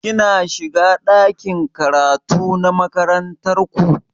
Ki na shiga ɗakin karatu na makarantar ku?